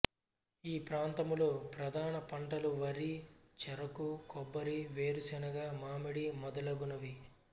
ఈ ప్రాంతములో ప్రధాన పంటలు వరి చెరకు కొబ్బరి వేరుశనగ మామిడి మొదలగునవి